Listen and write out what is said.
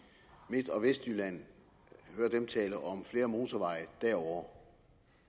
midt og vestjylland tale om flere motorveje derovre